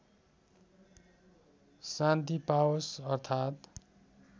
शान्ति पाओस् अर्थात्